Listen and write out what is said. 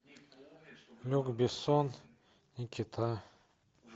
люк бессон никита